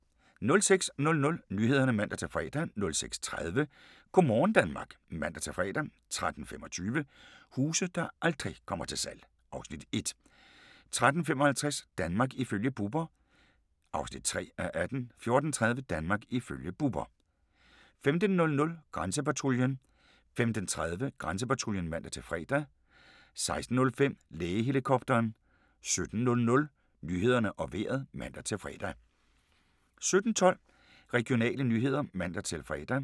06:00: Nyhederne (man-fre) 06:30: Go' morgen Danmark (man-fre) 13:25: Huse der aldrig kommer til salg (Afs. 1) 13:55: Danmark ifølge Bubber (3:18) 14:30: Danmark ifølge Bubber 15:00: Grænsepatruljen 15:30: Grænsepatruljen (man-fre) 16:05: Lægehelikopteren 17:00: Nyhederne og Vejret (man-fre) 17:12: Regionale nyheder (man-fre)